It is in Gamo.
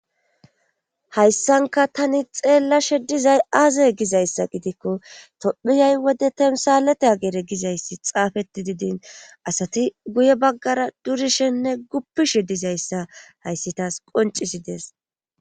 hayssanka tani xeellashe dizay aazay gizayssa gidikko tophiyay wode temsalete ageere gizayssi xaafeti didin asati guye baggara durishenne guppishe dizayssa hayssitaas qoncisi dees